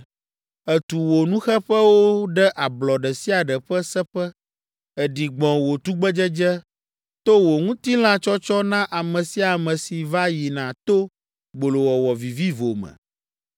Ètu wò nuxeƒewo ɖe ablɔ ɖe sia ɖe ƒe seƒe, èɖi gbɔ̃ wò tugbedzedze to wò ŋutilãtsɔtsɔ na ame sia ame si va yina to gbolowɔwɔ vivivo me.